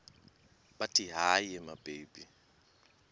bathi hayi mababe